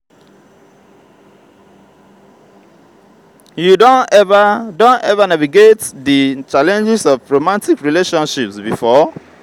you don ever don ever navigate di challenges of romantic relationships before?